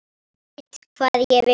Veit hvað ég vil.